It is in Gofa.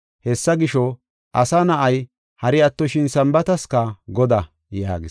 Hessa gisho, Asa Na7ay, hari attoshin Sambaataska Godaa” yaagis.